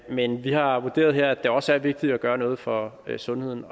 men vi har vurderet her at det også er vigtigt at gøre noget for sundheden